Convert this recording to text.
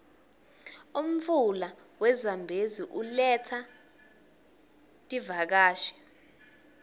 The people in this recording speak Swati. umfula we zambezi uletsa tiuakashi